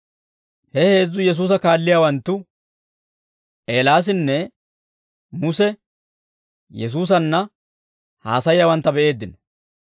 He heezzu Yesuusa kaalliyaawanttu, Eelaasinne Muse Yesuusanna haasayiyaawantta be'eeddino.